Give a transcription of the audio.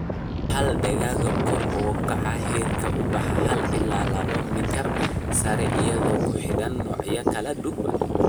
Wuxal ama dalagga kor u kaca heerka ubaxa hal ilaa laba mitar sare iyadoo ku xidhan noocyada kala duwan.